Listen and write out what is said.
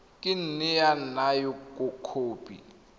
ka nne ya nna khopi